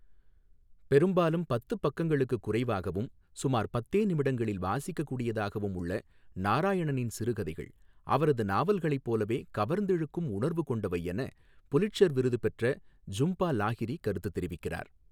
பெரும்பாலும் பத்து பக்கங்களுக்குக் குறைவாகவும் சுமார் பத்தே நிமிடங்களில் வாசிக்கக் கூடியதாகவும் உள்ள நாராயணனின் சிறுகதைகள் அவரது நாவல்களைப் போலவே கவர்ந்திழுக்கும் உணர்வு கொண்டவை என புலிட்சர் விருது பெற்ற ஜும்பா லாஹிரி கருத்துத் தெரிவிக்கிறார்.